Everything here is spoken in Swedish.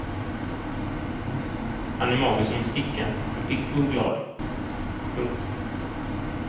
Han är mager som en sticka men pigg och glad. punkt